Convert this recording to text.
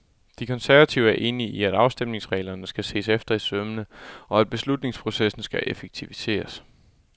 De konservative er enige i, at afstemningsreglerne skal ses efter i sømmene, og at beslutningsprocessen skal effektiviseres.